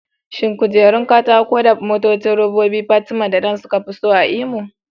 Shin kujerun katako da motocin robobi jariran Fatima da Dan suka fi so a Imo?